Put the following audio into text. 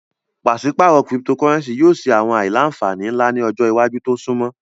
Paṣipaarọ Cyptocurrency yoo ni awọn aila-nfani nla ni ọjọ iwaju to sunmọ